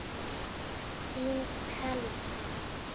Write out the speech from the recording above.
Þín, Thelma.